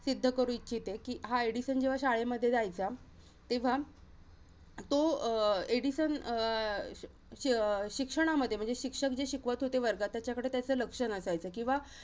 सिद्ध करू इच्छिते. कि हा एडिसन जेव्हा शाळेमध्ये जायचा, तेव्हा तो अं एडिसन अं शिअ~ शिक्षणामध्ये, म्हणजे शिक्षक जे शिकवत होते वर्गात, त्याच्याकडे त्याचं लक्ष नसायचं. किंवा